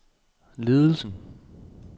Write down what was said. ledelsen